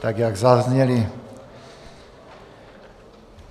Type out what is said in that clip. tak jak zazněly.